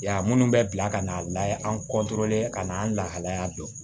Yan minnu bɛ bila ka na layɛ an ka na an lahalaya dɔn